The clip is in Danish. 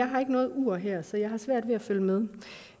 har noget ur her så jeg har svært ved at følge med